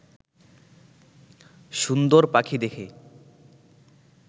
সুন্দর পাখি দেখে